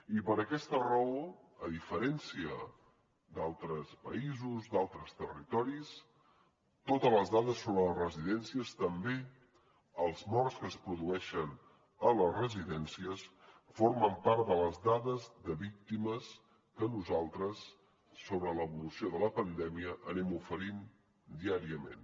i per aquesta raó a diferència d’altres països d’altres territoris totes les dades sobre les residències també els morts que es produeixen a les residències formen part de les dades de víctimes que nosaltres sobre l’evolució de la pandèmia anem oferint diàriament